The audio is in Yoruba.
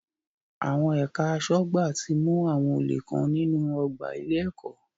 Àwọn ẹ̀ka aṣọ́gbà ti mú àwọn olè kan nínú ọgbà ilé-ẹ̀kọ́.